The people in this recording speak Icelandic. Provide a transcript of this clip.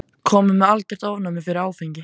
Kominn með algert ofnæmi fyrir áfengi.